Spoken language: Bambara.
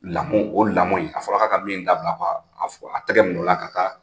Lamɔ o lamɔ in a fɔra k'a ka min dabila a fɔ k'a tɛgɛ minɛ o la ka taa.